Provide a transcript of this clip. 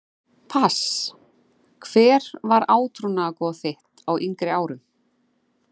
pass Hver var átrúnaðargoð þitt á yngri árum?